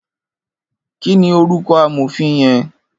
Kini órúkò àmófin yèn?